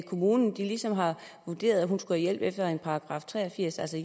kommunen ligesom har vurderet at hun skulle have hjælp efter en § tre og firs altså